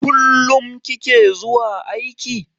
Kullum kike zuwa aiki?